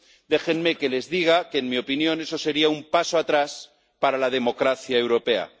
Déjenme que les diga que en mi opinión eso sería un paso atrás para la democracia europea.